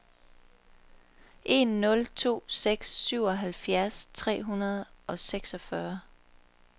en nul to seks syvoghalvfjerds tre hundrede og seksogfyrre